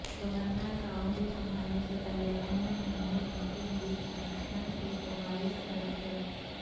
governor کا عہدے سنبھالنے سے پہلے احمد محمود مسلم لیگ فنکشنل کے صوبائی صدر تھے